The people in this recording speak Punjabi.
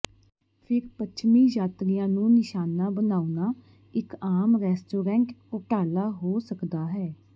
ਫਿਰ ਪੱਛਮੀ ਯਾਤਰੀਆਂ ਨੂੰ ਨਿਸ਼ਾਨਾ ਬਣਾਉਣਾ ਇਕ ਆਮ ਰੈਸਟੋਰੈਂਟ ਘੋਟਾਲਾ ਹੋ ਸਕਦਾ ਹੈ